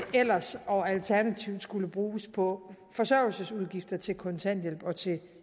ellers og alternativt skulle bruges på forsørgelsesudgifter nemlig til kontanthjælp og til